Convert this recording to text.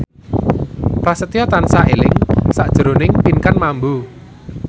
Prasetyo tansah eling sakjroning Pinkan Mambo